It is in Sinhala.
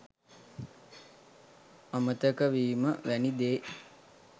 අමතක වීම වැනි දේ